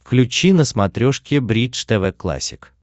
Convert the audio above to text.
включи на смотрешке бридж тв классик